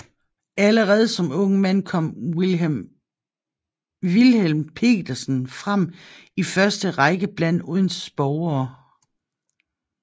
Allerede som ung mand kom Wilhelm Petersen frem i første Række blandt Odense borgere